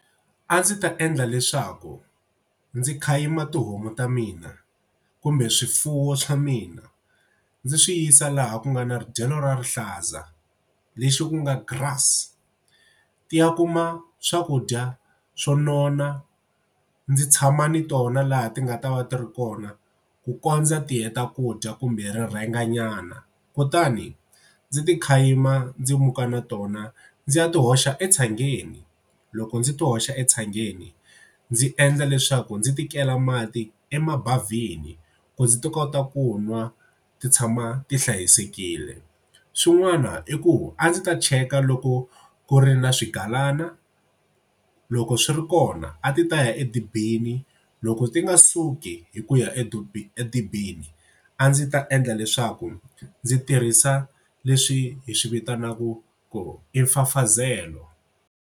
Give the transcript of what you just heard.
A ndzi ta endla leswaku ndzi khayima tihomu ta mina kumbe swifuwo swa mina ndzi swi yisa laha ku nga na ri dyelo ra rihlaza lexi ku nga grass. Ti ya kuma swakudya swo nona ndzi tshama ni tona laha ti nga ta va ti ri kona ku kondza ti heta ku dya kumbe ri rhenganyana kutani ndzi ti khayima ndzi muka na tona ndzi ya ti hoxa etshangeni. Loko ndzi to hoxa etshangeni ndzi endla leswaku ndzi ti kela mati emabavhini ku ndzi ti kota ku nwa ti tshama ti hlayisekile. Swin'wana i ku a ndzi ta cheka loko ku ri na swigalana loko swi ri kona a ti ta ya edibini loko ti nga suki hi ku ya edibini a ndzi ta endla leswaku ndzi tirhisa leswi hi swi vitanaka ku i mfafazelo.